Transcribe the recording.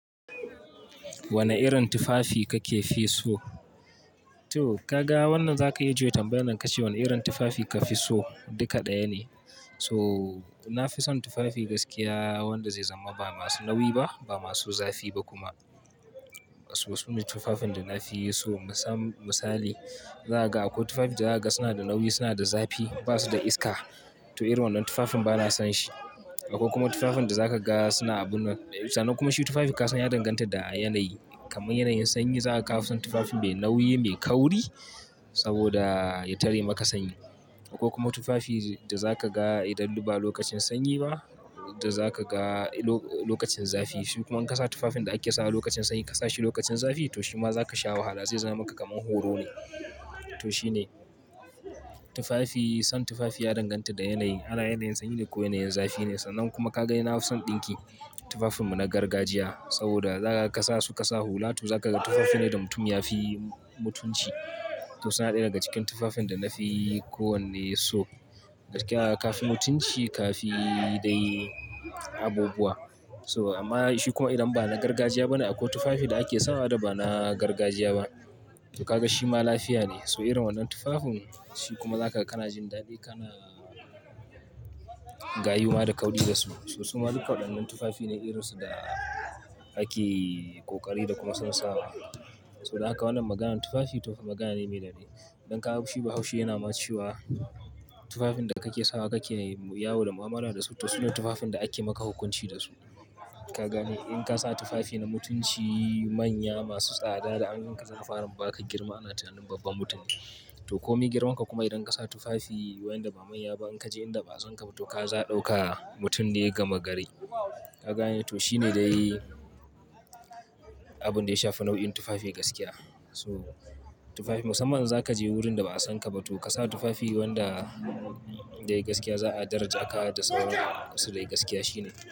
Wane irin tufafi kake fi so? To ka ga wannan za ka yi juye tambayan nan ka ce wane irin tufafi ka fi so? Duka ɗaya ne. So na fi son tufafi gaskiya wanda zai zama ba masu nauyi ba, ba masu zafi ba kuma. Wasu ne tufafin da na fi so misali, zaga akwai tufafi da zaga suna da nauyi, suna da zafi, ba su da iska to irin wannan tufafin bana son shi. Akwai kuma tufafin da za ka ga suna abun nan. Sannan kuma shi tufafin ka san ya danganta da yanayi. Kaman yanayin sanyi za ka kawo son tufafi mai nauyi, mai kauri saboda ya tare maka sanyi. Akwai kuma tufafi da za ka ga idan ba lokacin sanyi ba da za ka ga lokacin zafi. Shi kuma in ka sa tufafin da ake sawa lokacin sanyi ka sa shi lokacin zafi to shima za ka sha wahala zai zama maka kaman horo ne. To shine tufafi, son tufafi ya danganta da yanayi. Ala yanayin sanyi ne ko yanayin zafi ne sannan kuma ka ga ni nafi son ɗinki. Tufafin mu na gargajiya saboda za ka sa su ka sa hula to za ka ga tufafi ne da mutum ya fi mutunci. To suna ɗaya daga cikin tufafin da na fi kowanne so. Gaskiya ka fi mutunci, ka fi dai abubuwa. So amma shi kuma idan ba na gargajiya bane akwai tufafi da ake sawa da ba na gargajiya ba. To ka ga shi ma lafiya ne. So irin wannan tufafin shi kuma zaka kana jin dadi kana gayuwa da kaudi da su. So su ma duka waɗannan tufafi ne iransu da ake ƙoƙari da kuma son sawa. So da aka ka wannan maganan tufafi magana ne mai dadi. Idan ka ga shi bahaushi yana ma cewa. Tufafin da kake sawa kake yawo da mu'amala da su. To su ne tufafin da ake maka hukunci da su. Ka gane in ka sa tufafi na mutunci manya masu tsada da an yanka tsafaran ba ka girma ana tunanin babban mutum ne. To kome girman ka kuma idan ka sa tufafi wayanda ba manya ba in ka je inda ba a san ka ba to ka za ɗauka mutum da ya gama garai. Ka gane? To shine dai abun da ya shafi nau'in tufafi gaskiya. So tufafi musamman za ka je wurin da ba a san ka ba to ka sa tufafi wanda dai gaskiya za a daraja ka da sauransu da gaskiya shine.